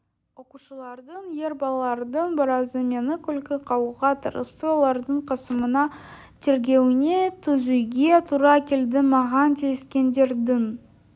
оқушылардың ер балалардың біразы мені күлкі қылуға тырысты олардың қысымына тергеуіне төзуге тура келді маған тиіскендердің